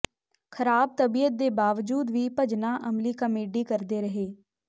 ਖਰਾਬ ਤਬੀਅਤ ਦੇ ਬਾਵਜੂਦ ਵੀ ਭਜਨਾ ਅਮਲੀ ਕਾਮੇਡੀ ਕਰਦੇ ਰਹੇ